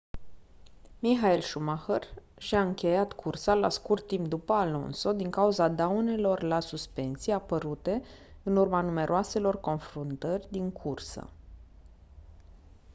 michael schumacher și-a încheiat cursa la scurt timp după alonso din cauza daunelor la suspensii apărute în urma numeroaselor confruntări din cursă